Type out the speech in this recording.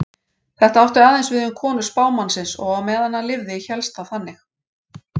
Þetta átti aðeins við um konur spámannsins og á meðan hann lifði hélst það þannig.